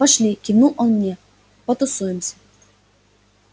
пошли кивнул он мне потусуемся